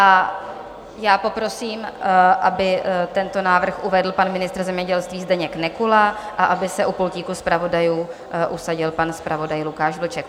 A já poprosím, aby tento návrh uvedl pan ministr zemědělství Zdeněk Nekula a aby se u pultíku zpravodajů usadil pan zpravodaj Lukáš Vlček.